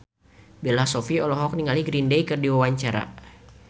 Bella Shofie olohok ningali Green Day keur diwawancara